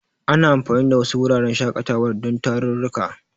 Ana anfani da wasu wuraren shaƙatawar don tarurruka.